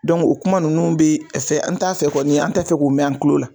Dɔnku o kuma nunnu be fɛ n t'a fɛ kɔni' an tɛ fɛ k'o mɛn an tulo la